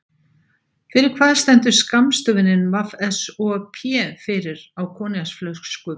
Fyrir hvað stendur skammstöfunin VSOP fyrir á koníaksflöskum?